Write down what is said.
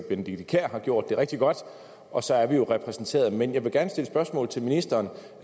benedikte kiær har gjort det rigtig godt og så er vi jo repræsenteret men jeg vil gerne stille spørgsmål til ministeren